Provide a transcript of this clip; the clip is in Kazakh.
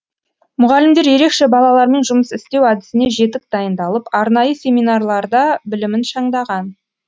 мұғалімдер ерекше балалармен жұмыс істеу әдісіне жетік дайындалып арнайы семинарларда білімін шыңдаған